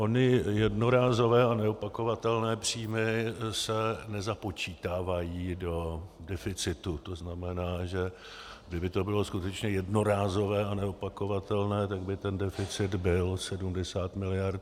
Ony jednorázové a neopakovatelné příjmy se nezapočítávají do deficitu, to znamená, že kdyby to bylo skutečně jednorázové a neopakovatelné, tak by ten deficit byl 70 miliard.